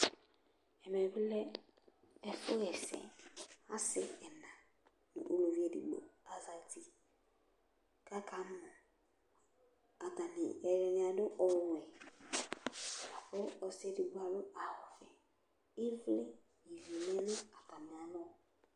ɛmɛ bi lɛ ɛfu ɣa ɛsɛ asi ɛna no uluvi edigbo azati k'aka mɔ k'atani ɛdini adu ɔwɛ kò ɔsi edigbo adu awu ɔvɛ ivli n'ivi lɛ no atami alɔ